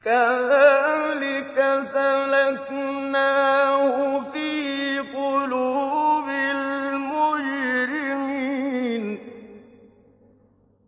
كَذَٰلِكَ سَلَكْنَاهُ فِي قُلُوبِ الْمُجْرِمِينَ